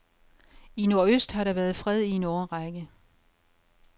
I nordøst har der været fred i en årrække.